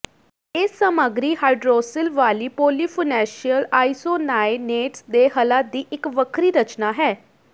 ਇਹ ਸਾਮੱਗਰੀ ਹਾਈਡ੍ਰੋਸਿ਼ਲ ਵਾਲੀ ਪੋਲੀਫੁਨੈਂਸ਼ੀਅਲ ਆਈਸੋਨਾਇਨੇਟਸ ਦੇ ਹੱਲਾਂ ਦੀ ਇੱਕ ਵੱਖਰੀ ਰਚਨਾ ਹੈ